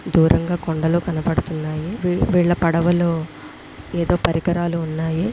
దూరంగ కొండలు కనబడుతున్నాయి వీళ్ళ వీళ్ళ పడవలో ఎదో పరికరాలు ఉన్నాయి.